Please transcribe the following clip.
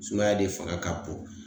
Sumaya de fanga ka bon